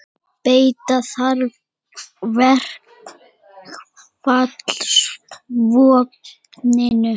Beita þarf verkfallsvopninu